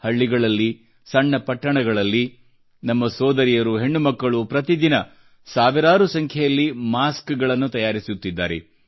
ಹಳ್ಳಿಗಳಲ್ಲಿ ಸಣ್ಣ ಪಟ್ಟಣಗಳಲ್ಲಿ ನಮ್ಮ ಸೋದರಿಯರು ಹೆಣ್ಣುಮಕ್ಕಳು ಪ್ರತಿ ದಿನ ಸಾವಿರಾರು ಸಂಖ್ಯೆಯಲ್ಲಿ ಮಾಸ್ಕ್ ಗಳನ್ನು ತಯಾರಿಸುತ್ತಿದ್ದಾರೆ